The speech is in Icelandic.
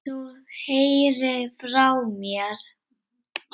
Þú heyrir frá mér.